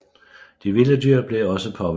De vilde dyr blev også påvirket